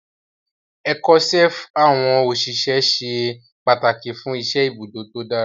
Ẹ̀kọ́ṣẹ́ àwọn òṣìṣẹ́ ṣe pàtàkì fún iṣẹ́ ibùdó tó dára